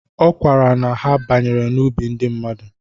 Ọ kọwara na ha banyere n'ubi ndị mmadu